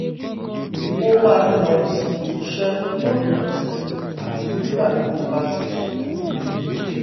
ó máa ń lọ síbi iṣẹ́ lópin ọ̀sẹ̀ àti nígbà tó bá ti ṣùkùú dé